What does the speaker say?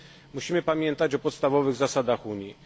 Musimy pamiętać o podstawowych zasadach Unii.